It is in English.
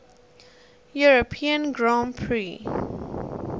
european grand prix